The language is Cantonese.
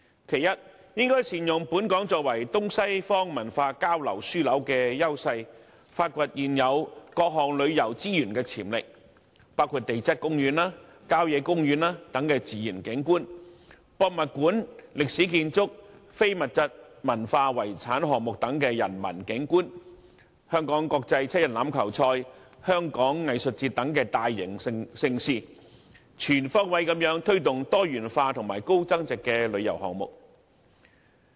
其一，政府應善用本港作為東西方文化交流樞紐的優勢，發掘現有各項旅遊資源的潛力，包括地質公園和郊野公園等自然景觀；博物館、歷史建築和非物質文化遺產項目等人文景觀；香港國際七人欖球賽及香港藝術節等大型盛事，以便全方位推動多元化和高增值的旅遊項目。